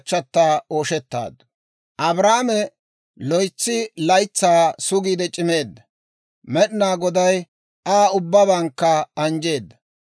Abrahaame loytsi laytsaa sugiide c'imeedda; Med'ina Goday Aa ubbabankka anjjeedda.